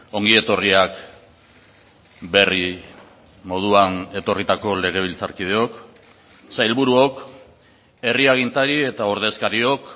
ongi etorriak berri moduan etorritako legebiltzarkideok sailburuok herri agintari eta ordezkariok